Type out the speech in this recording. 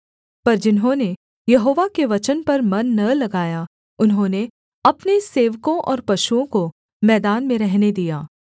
पर जिन्होंने यहोवा के वचन पर मन न लगाया उन्होंने अपने सेवकों और पशुओं को मैदान में रहने दिया